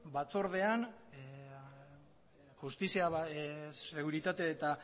justizia seguritate eta